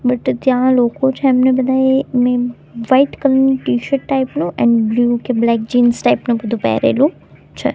But ત્યાં લોકો છે એમણે બધાએ મેં વાઈટ કલર ની ટીશર્ટ ટાઈપ નું એન્ડ બ્લુ કે બ્લેક જીન્સ ટાઈપ નું બધું પહેરેલું છે.